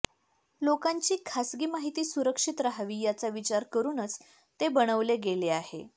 लोकांची खासगी माहिती सुरक्षित राहावी याचा विचार करूनच ते बनविले गेले आहे